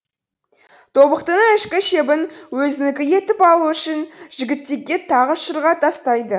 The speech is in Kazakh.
тобықтының ішкі шебін өзінікі етіп алу үшін жігітікке тағы шырға тастайды